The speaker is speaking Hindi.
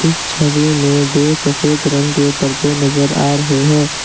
इस छवि में दो सफेद रंग के पर्दे नजर आ रहे हैं।